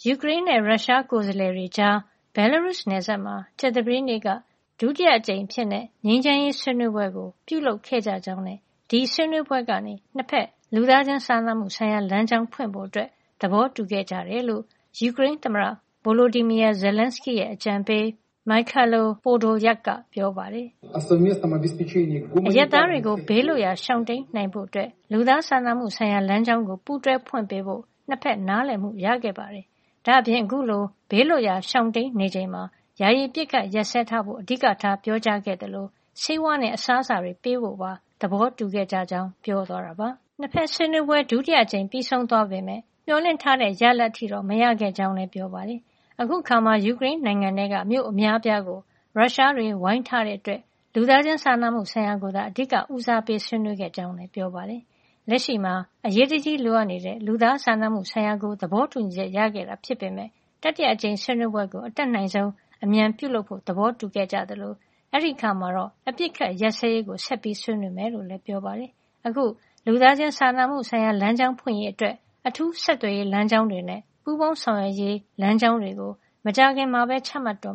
ယူကရိန်းနဲ့ ရုရှားကိုယ်စားလှယ်တွေကြား ဘဲလားရုစ် နယ်စပ်မှာ ကြာသပတေးနေ့က ဒုတိယအကြိမ်အဖြစ် ငြိမ်းချမ်းရေးဆွေးနွေးပွဲ ပြုလုပ်ခဲ့ကြကြောင်းနဲ့ ဒီဆွေးနွေးပွဲကနေ နှစ်ဘက် လူသားချင်းစာနာမှုဆိုင်ရာ လမ်းကြောင်းဖွင့်ဖို့ သဘောတူခဲ့ကြတယ်လို့ ယူကရိန်းသမ္မတ Volodymyr Zelenskyy ရဲ့ အကြံပေး Mykhailo Podolyak က ပြောပါတယ်။ "အရပ်သားတွေကို ဘေးလွတ်ရာရှောင်တိမ်းနိုင်ဖို့ လူသားစာနာမှုဆိုင်ရာ လမ်းကြောင်းကို ပူးတွဲဖွင့်ပေးဖို့ နှစ်ဘက် နားလည်မှုရခဲ့ပါတယ်။ ဒါ့အပြင် အခုလို ဘေးလွတ်ရာ ရှောင်တိမ်းနေချိန်မှာ ယာယီ အပစ်အခတ်ရပ်စဲထားဖို့ အဓိကထား ပြောကြားခဲ့သလို ဆေးဝါးနဲ့ အစားအစာတွေ ပေးပို့ဖို့ပါ သဘောတူခဲ့ကြကြောင်း" ပြောသွားတာပါ။ နှစ်ဘက်ဆွေးနွေးပွဲ ဒုတိယအကြိမ် ပြီးဆုံးသွားပေမယ့် မျှော်လင့်ထားတဲ့ ရလဒ်အထိတော့ မရခဲ့ကြောင်းလည်း ပြောပါတယ်။ အခုအခါမှာ ယူကရိန်းနိုင်ငံထဲက မြို့ အများအပြားကို ရုရှားတွေ ဝိုင်းထားတဲ့အတွက် လူသားချင်းစာနာမှုဆိုင်ရာ ကိုသာ အဓိက ဦးစားပေးပြီး သူဆွေးနွေးခဲ့ကြောင်းလည်း ပြောပါတယ်။ လက်ရှိမှာ အရေးတကြီးလိုအပ်နေတဲ့ လူသားချင်းစာနာမှုဆိုင်ရာကို သဘောတူညီချက်ရခဲ့တာ ဖြစ်ပေမယ့် တတိယအကြိမ် ဆွေးနွေးပွဲကို အတတ်နိုင်ဆုံး အမြန်ပြုလုပ်ဖို့ သဘောတူခဲ့ကြသလို အဲဒီအခါမှာတော့ ငြိမ်းချမ်းရေးနဲ့ ပတ်သက်ပြီး အပစ်ခတ်ရပ်စဲရေးကို ဆက်လက်ဆွေးနွေးမှာ ဖြစ်ကြောင်း ပြောပါတယ်။ အခု လူသားချင်းစာနာမှု လမ်းကြောင်း ဖွင့်ရေးအတွက် အထူး ဆက်သွယ်ရေးလမ်းကြောင်းတွေနဲ့ ပူးပေါင်းဆောင်ရွက်ရေး လမ်းကြောင်းတွေကို မကြာခင်မှာပဲ ချမှတ်တေ